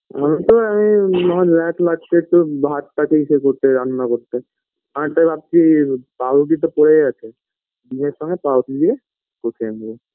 এমনিতেও আমি মাছ ভাতটা আসে করতে রান্না করতে আমি তাই ভাবছি পাউরুটি তো পরেই আছে দুধের সঙ্গে পাউরুটি দিয়ে ও খেয়ে নেব